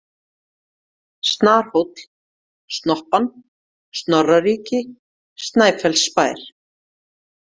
Snarhóll, Snoppan, Snorraríki, Snæfellsbær